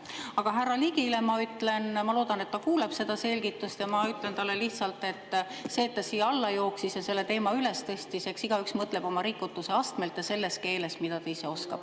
Aga härra Ligile ma ütlen – ma loodan, et ta kuuleb seda selgitust –, et see, et ta siia alla jooksis ja selle teema tõstatas, eks igaüks mõtleb oma rikutuse astmelt ja selles keeles, mida ta ise oskab.